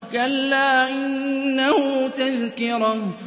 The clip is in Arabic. كَلَّا إِنَّهُ تَذْكِرَةٌ